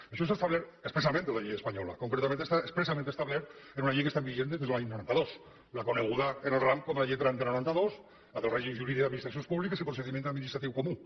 això s’ha establert especialment per la llei espanyola concretament està expressament establert en una llei que està vigent des de l’any noranta dos la coneguda en el ram com la llei trenta noranta dos la del règim jurídic i administracions públiques i procediments administratius comuns